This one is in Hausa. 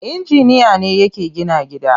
Inginiya ne yake gina gida.